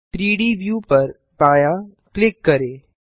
3डी व्यू पर बायाँ क्लिक करें